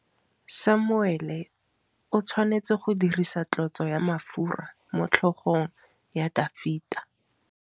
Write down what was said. Samuele o tshwanetse go dirisa tlotsô ya mafura motlhôgong ya Dafita.